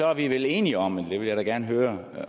er vi vel enige om men det vil jeg da gerne høre